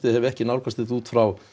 hef ekki nálgast þetta út frá